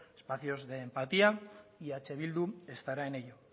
espacios de empatía y eh bildu estará en ello